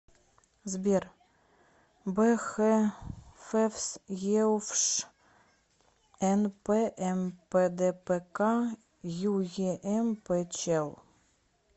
сбер б х февс еуфш нпмпдпк юемпчел